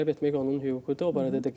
Bəli, bəli, tələb etmək onun hüququdur.